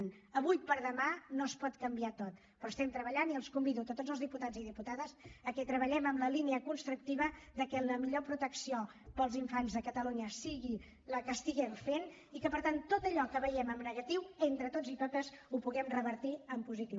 d’avui per demà no es pot canviar tot però hi estem treballant i els convido a tots els diputats i diputades a que treballem en la línia constructiva de que la millor protecció per als infants a catalunya sigui la que estiguem fent i que per tant tot allò que veiem en negatiu entre tots i totes ho puguem revertir en positiu